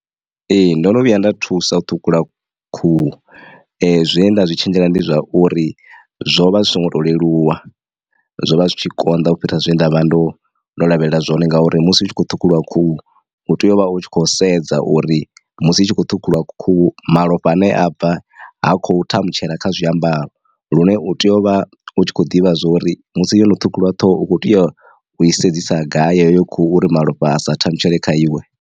Ee ndono vhuya nda thusa u ṱhukhula khuhu zwe nda zwi tshenzhela ndi zwa uri zwo vha zwi so ngo to leluwa zwo vha zwi tshi konḓa u fhira zwe nda vha ndo lavhelela zwone ngauri musi hu tshi khou ṱhukhuliwa khuhu u tea u vha u tshi khou sedza uri musi itshi kho ṱhukhuliwa khuhu malofha ane a bva ha khou thamutshela kha zwiambaro lune u tea u vha u tshi kho ḓivha zwori musi yono ṱhukhuliwa ṱhoho u kho tea u i sedzisa gai heyo khuhu u ri malofha asa thamutshela kha iwe.